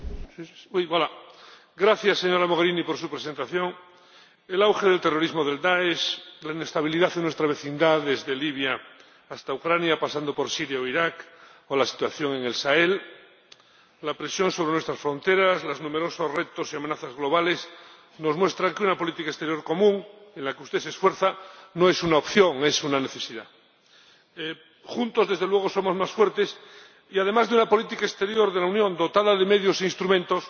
Señora Presidenta. Gracias, señora Mogherini, por su presentación. El auge del terrorismo del Dáesh, la inestabilidad en nuestra vecindad, desde Libia hasta Ucrania pasando por Siria o Iraq, o la situación en el Sahel, la presión sobre nuestras fronteras y los numerosos retos y amenazas globales nos muestran que una política exterior común, en la que usted se esfuerza, no es una opción, es una necesidad. Juntos, desde luego, somos más fuertes. Y además de una política exterior de la Unión dotada de medios e instrumentos